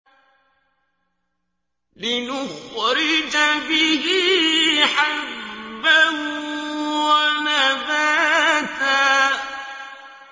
لِّنُخْرِجَ بِهِ حَبًّا وَنَبَاتًا